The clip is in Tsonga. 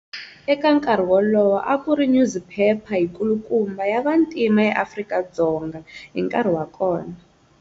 Eka nkarhi wolowo, a ku ri nyuziphepha yikulukumba ya vantima eAfrika-Dzonga hi nkarhi wa kona.